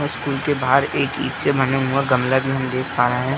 और स्कूल के बाहर एक ईंट से बना हुआ गमला भी हम दिख पा रहे हैं।